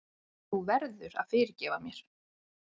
Þú verður að fyrirgefa mér.